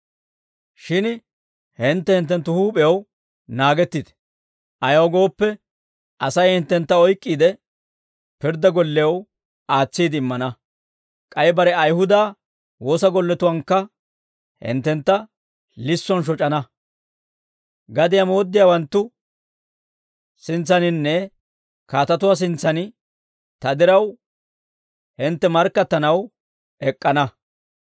Shin hintte hinttenttu huup'ew naagettite; ayaw gooppe, Asay hinttentta oyk'k'iide, pirddaa gollew aatsiide immana; k'ay bare Ayihuda woosa golletuwankka hinttentta lissuwaan shoc'ana; gadiyaa mooddiyaawanttu sintsaaninne kaatatuwaa sintsan ta diraw hintte markkattanaw ek'k'ana.